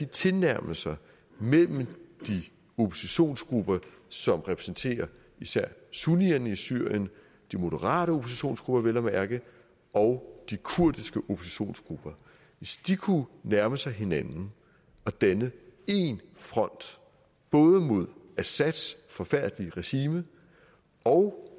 tilnærmelser mellem de oppositionsgrupper som repræsenterer især sunnierne i syrien de moderate oppositionsgrupper vel at mærke og de kurdiske oppositionsgrupper hvis de kunne nærme sig hinanden og danne én front både mod assads forfærdelige regime og